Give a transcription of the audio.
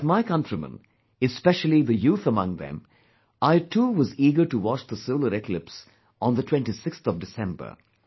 Like my countrymen, especially the youth among them, I too was eager to watch the solar eclipse on the 26th of December